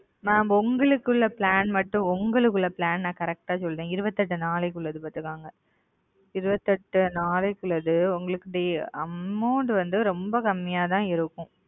mam உங்களுக்கு உள்ள flannel மட்டும் ந correct சொல்லுற இருபத்தியெட்டு நாட்களுக்கு கொடுத்து இருக்காங்க okay amount வந்து ரொம்ப கம்மியா இருக்கும் இருக்காங்க